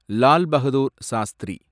Lal Bahadur Shastri